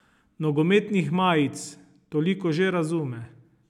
Nogometnih majic, toliko že razume.